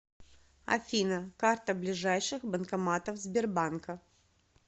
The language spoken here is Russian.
афина карта ближайших банкоматов сбербанка